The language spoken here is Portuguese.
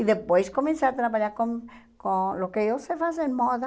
E depois comecei a trabalhar com com o que eu sei fazer, moda.